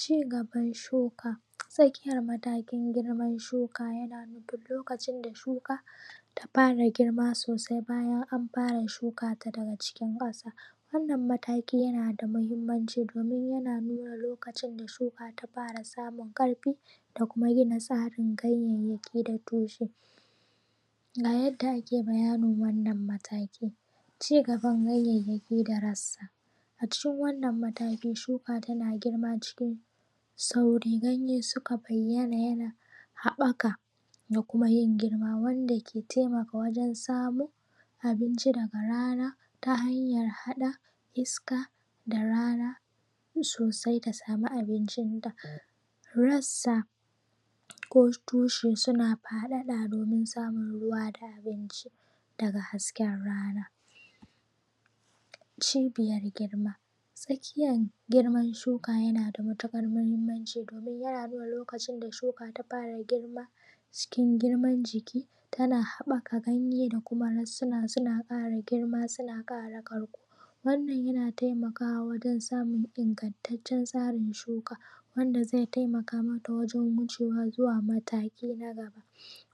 Cigaban shuka. Tsakiyar matakin girman shuka yana nufin lokacin da shuka ta fara girma sosai bayan an fara shuka ta daga cikin ƙasa wannan mataki yana da muhinmanci domin yana nuna lokacin da shuka ta fara samun ƙarfi, da kuma gina tsarin ganyayyaki da tushe. Ga yadda ake bayanin wannan mataki. Cigaban ganyayyaki da rassa: A cikin wannan mataki shuka tana girma cikin sauri ganye suka bayyana yana haɓaka da kuma yin girma, wanda ke taimaka wajen samun abinci daga rana ta hanyar haɗa iska da rana sosai ta samu abincin ta. Rassa ko tushe suna faɗaɗa domin samun ruwa da abinci daga hasken rana. Cibiyar girma tsakiyar girman shuka yana da matuƙar muhimmanci domin yana nuna lokacin da shuka ta fara girma cikin girman jiki tana haɓaka ganye da kuma rassuna suna ƙara girma suna ƙara ƙarko wannan yana taimakawa wajen samun ingantaccen tsarin shuka wanda zai taimaka mata wajen wucewa zuwa mataki na gaba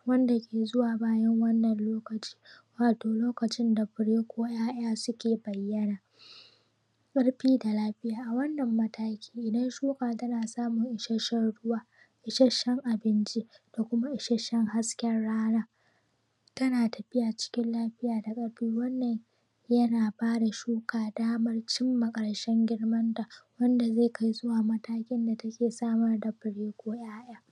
wanda ke zuwa bayan wannan lokaci, wato lokacin da fure ko 'ya'ya suke fara bayyana. Ƙarfi da lafiya: A wannan mataki idan shuka tana samun isashshen ruwa, isashshen abinci da kuma isashshen hasken rana tana tafiya cikin lafiya da ƙarfi wannan yana ba da shuka damar cimma ƙarshen girmanta wanda zai kai zuwa ga matakin da take samar da fure ko ‘ya'ya.